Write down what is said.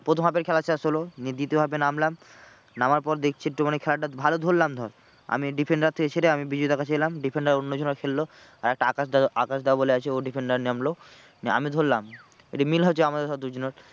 প্রথম half এর খেলা শেষ হলো নিয়ে দ্বিতীয় half এ নামলাম নামার পর দেখছি একটুখানি খেলাটা ভালো ধরলাম ধর আমি defender থেকে ছেড়ে আমি বিজয় দার কাছে এলাম defender অন্যজনে খেললো। আর একটা আকাশ দা, আকাশ দা বলে আছে ও defender নামলো। নিয়ে আমি ধরলাম, একটু মিল হয়েছে আমাদের ধর দুজনের